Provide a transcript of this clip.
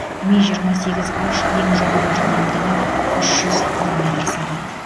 ми жиырма сегіз н ең жоғары жылдамдығы үш жүз километр сағат